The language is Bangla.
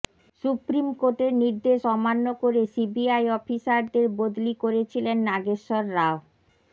সুপ্রিম কোর্টের নির্দেশ অমান্য করে সিবিআই অফিসারদের বদলি করেছিলেন নাগেশ্বর রাও